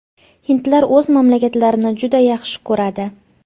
Hindlar o‘z mamlakatlarini juda yaxshi ko‘radi.